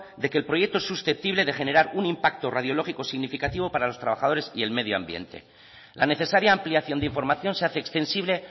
de que el proyecto susceptible de generar un impacto radiológico significativo para los trabajadores y el medio ambiente la necesaria ampliación de información se hace extensible